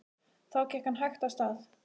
Þá gekk hann hægt af stað.